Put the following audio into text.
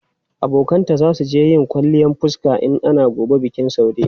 Abokanta za su je yin kwalliyan fuska in ana gobe bikin Saude.